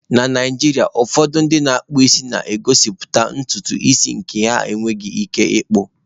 Na Naijiria, ụfọdụ ndị na-akpụ isi na-egosipụta ntutu isi nke ha enweghị ike ịkpu.